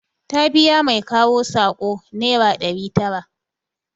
Ta biya mai kawo saƙo nera ɗari tara